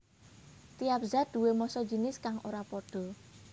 Tiap zat duwé massa jinis kang ora pada